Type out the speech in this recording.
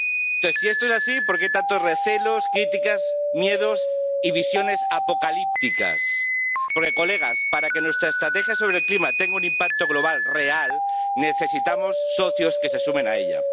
Entonces, si esto es así, ¿por qué tantos recelos, críticas, miedos y visiones apocalípticas? Porque, señorías, para que nuestra estrategia sobre el clima tenga un impacto global real necesitamos socios que se sumen a ella.